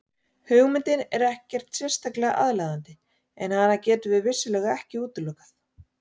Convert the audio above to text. Hugmyndin er ekkert sérlega aðlaðandi en hana getum við vissulega ekki útilokað.